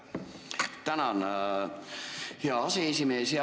Tänan, hea aseesimees!